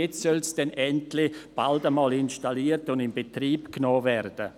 Jetzt soll es dann endlich bald einmal installiert und in Betrieb genommen werden.